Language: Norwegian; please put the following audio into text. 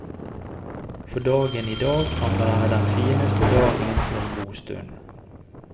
For dagen i dag kan være den fineste dagen på en god stund.